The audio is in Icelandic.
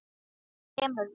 Þú kemur með.